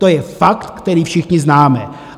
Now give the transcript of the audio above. To je fakt, který všichni známe.